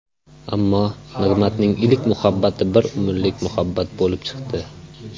Ammo Nig‘matning ilk muhabbati bir umrlik muhabbat bo‘lib chiqdi.